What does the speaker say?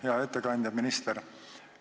Hea ettekandja, minister!